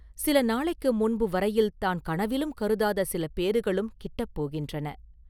சில நாளைக்கு முன்பு வரையில் தான் கனவிலும் கருதாத சில பேறுகளும் கிட்டப்போகின்றன.